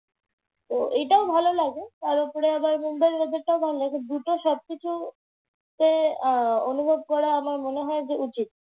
তো এইটাও ভালো লাগে। তার উপরে বম্বের weather টাও আমার ভালো লাগে। দুটোর সবকিছুতে আহ অনুভব করাটা আমার মনে হয় যে উচিৎ।